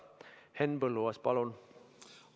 Henn Põlluaas, palun!